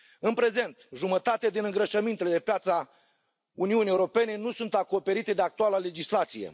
În prezent, jumătate din îngrășămintele de pe piața Uniunii Europene nu sunt acoperite de actuala legislație.